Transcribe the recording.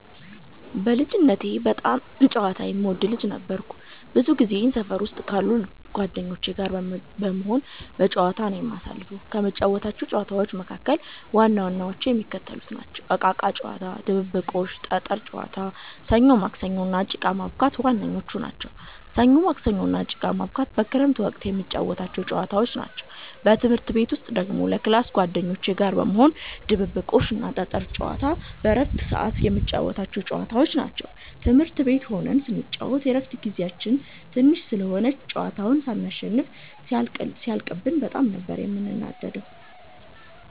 በልጅነቴ በጣም ጨዋታ የምወድ ልጅ ነበርኩ። ብዙ ጊዜየን ሰፈር ውስጥ ካሉት ጓደኞቼ ጋር በመሆን በጫወታ ነዉ የማሳልፈው። ከምንጫወታቸው ጨዋታዎች መካከል ዋናዎቹ የሚከተሉት ናቸው። እቃቃ ጨዋታ፣ ድብብቆሽ፣ ጠጠር ጨዋታ፣ ሰኞ ማክሰኞ እና ጭቃ ማቡካት ዋነኞቹ ናቸው። ሰኞ ማክሰኞ እና ጭቃ ማቡካት በክረምት ወቅት የምንጫወታቸው ጨዋታዎች ናቸው። በትምህርት ቤት ውስጥ ደግሞ ከ ክላስ ጓደኞቼ ጋር በመሆን ድብብቆሽ እና ጠጠር ጨዋታ በረፍት ሰዓት የምንጫወታቸው ጨዋታዎች ናቸው። ትምህርት ቤት ሆነን ስንጫወት የረፍት ጊዜያችን ትንሽ ስለሆነች ጨዋታውን ሳንሸናነፍ ሲያልቅብን በጣም ነበር የምንናደደው።